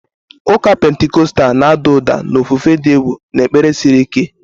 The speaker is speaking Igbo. Ụka Pentikọstal na-ada ụda na ofufe dị egwu na ekpere siri ike.